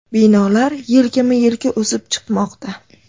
Binolar yelkama-yelka o‘sib chiqmoqda.